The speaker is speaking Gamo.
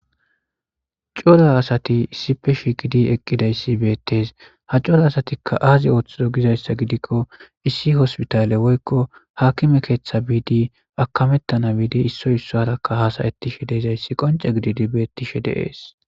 Cora asati issi shiiqidi eqidayssi beetees. Ha corra asati azi oothizo gizayssa gidiko issi hospitaale woykko haakime keeththa biidi akametana biidi issoy issuwarakka haasayetishe de7izayssi qoncce gididi beetishe de7ees.